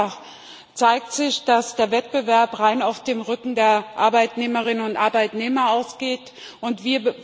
Denn vielfach zeigt sich, dass der Wettbewerb rein auf dem Rücken der Arbeitnehmerinnen und Arbeitnehmer ausgetragen wird.